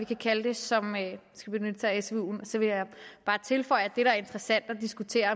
kan kalde dem som skal benytte sig af svuen og så vil jeg bare tilføje at det er interessant at diskutere